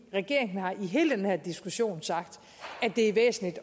regeringen har i hele den her diskussion sagt at det er væsentligt